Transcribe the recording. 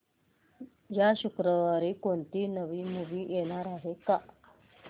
या शुक्रवारी कोणती नवी मूवी येणार आहे का